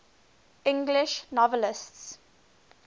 english novelists